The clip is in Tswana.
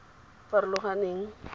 farologaneng